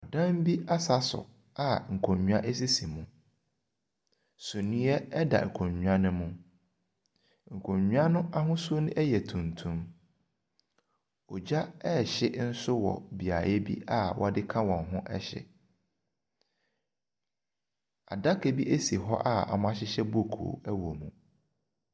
Ɔdan bi asaso a nkonnwa esisi mu. Sumiɛ ɛda nkonnwa no mu. Nkonnwa n'ahosuo no ɛyɛ tuntum. Ɔgya rehye ɛwɔ beaeɛ bi a ɔde ka wɔn ho hye. Adaka bi esi hɔ a wɔhyehyɛ book ɛwɔ mu.